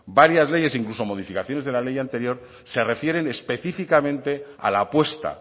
varias leyes e incluso la modificación de la ley anterior se refieren específicamente a la apuesta